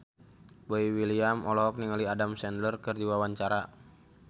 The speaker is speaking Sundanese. Boy William olohok ningali Adam Sandler keur diwawancara